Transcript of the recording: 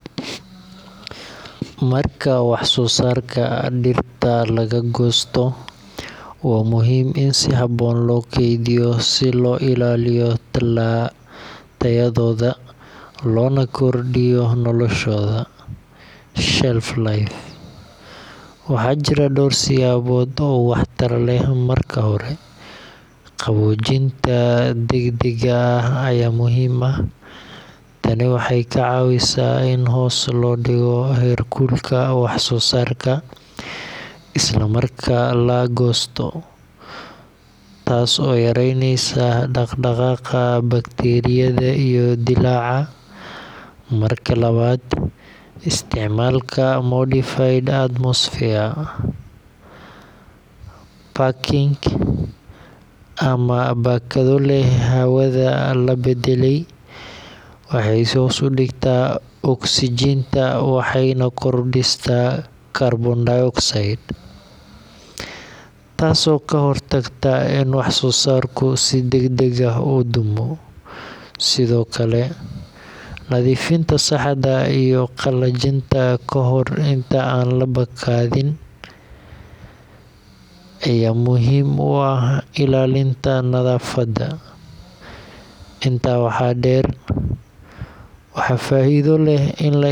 Marka wax soo saarka dhirta laga goosto, waa muhiim in si habboon loo kaydiyo si loo ilaaliyo tayadooda loona kordhiyo noloshooda shelf life. Waxaa jira dhowr siyaabood oo waxtar leh. Marka hore, qaboojinta degdegga ah ayaa muhiim ah. Tani waxay ka caawisaa in hoos loo dhigo heerkulka wax soo saarka isla marka la goosto, taas oo yareyneysa dhaqdhaqaaqa bakteeriyada iyo dillaaca. Marka labaad, isticmaalka modified atmosphere packaging ama baakado leh hawada la beddelay waxay hoos u dhigtaa oksijiinta waxayna kordhisaa kaarboon dioxide, taasoo ka hortagta in wax soo saarku si degdeg ah u dumo. Sidoo kale, nadiifinta saxda ah iyo qallajinta ka hor inta aan la baakadin ayaa muhiim u ah ilaalinta nadaafadda. Intaa waxaa dheer, waxaa faa’iido leh.